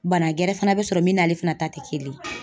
Bana gɛrɛ fana bɛ sɔrɔ min n'ale fana ta tɛ kelen ye